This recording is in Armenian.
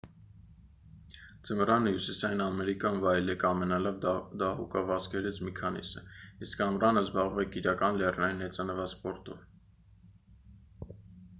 ձմռանը հյուսիսային ամերիկայում վայելեք ամենալավ դահուկավազքերից մի քանիսը իսկ ամռանը զբաղվեք իրական լեռնային հեծանվասպորտով